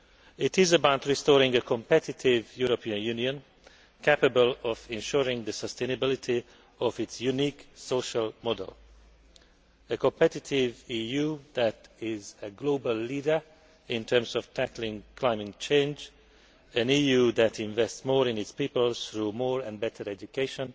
It is about restoring a competitive European Union capable of ensuring the sustainability of its unique social model a competitive EU that is a global leader in terms of tackling climate change, an EU that invests more in its people through more and better education